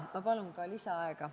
Ma palun ka lisaaega.